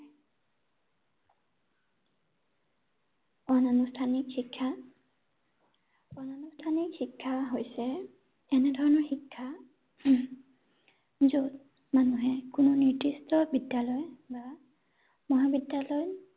অনুনাষ্ঠানিক শিক্ষা অনুনাষ্ঠনিক শিক্ষা হৈছে এনেধৰণৰ শিক্ষা য’ত মানুহে কোনো নিদিৰ্ষ্ট বিদ্যালয় বা মহাবিদ্যালয়